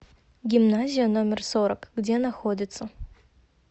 гимназия номер сорок где находится